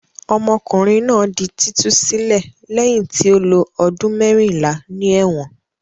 Ọmọkùnrin náà di títú sílẹ̀ lẹ́yìn tí ó lo ọdún mẹ́rìnlá ní ẹ̀wọ̀n.